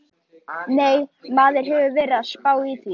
Nei, maður hefur verið að spá í það.